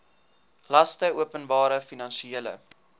laste openbare finansiële